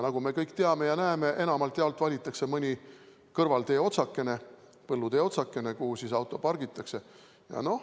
Nagu me kõik teame ja näeme, enamjaolt valitakse mõni kõrvaltee, põllutee otsakene, kuhu auto pargitakse.